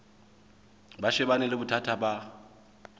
ba shebane le bothata ba